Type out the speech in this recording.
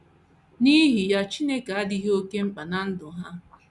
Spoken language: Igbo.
N’ihi ya, Chineke adịghị oké mkpa ná ndụ ha.